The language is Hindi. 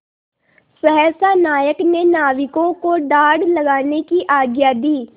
सहसा नायक ने नाविकों को डाँड लगाने की आज्ञा दी